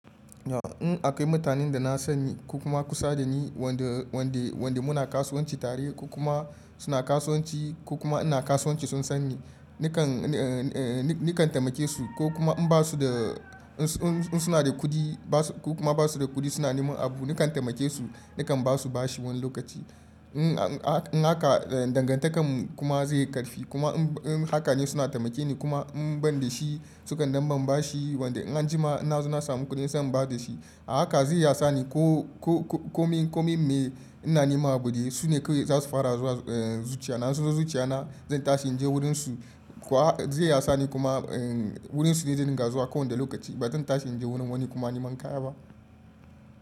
In akayi mutanen da na sani ko kuma kusa da ni wanda, wanda, wanda muna kasuwanci tare ko kuma suna kasuwanci ko kuma ina kasuwanci sun san ni nakan, eh, eh nikan taimake su ko kuma in basu da in suna da kuɗi basu ko kuma basu da kuɗi suna neman abu nakan taimake su nakan basu bashi wani lokaci. In, in haka dangantakar mu kuma zai yi ƙarfi kuma in hakane suna taimake ni kuma in ban da shi sukan daban bashi wanda in an jima ina suna samun kuɗin zan ba da shi. A haka zai yi hasani ko, ko, ko, ko min, ko min mai ina nima buɗe su ne kai za su fara zuwa, eh, zuciya na in su zo zuciya na zan tashi in je wurin su. Kowa zai yi hasani kuma, eh, wurin su ne zan dinga zuwa kowanda lokaci ba zan tashi in je wurin wani kuma niman kaya ba.